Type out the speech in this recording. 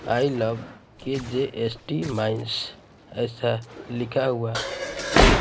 आई love K J S T mines ऐसा लिखा हुआ है।--